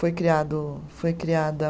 Foi criado, foi criada.